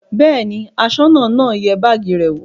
Bẹ́ẹ̀ ni, aṣọ́nà náà yẹ báágì rẹ̀ wò.